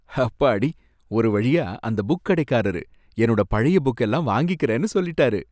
ஹப்பாடி! ஒரு வழியா அந்த புக் கடைக்காரரு என்னோட பழைய புக்கெல்லாம் வாங்கிக்கிறேன்னு சொல்லிட்டாரு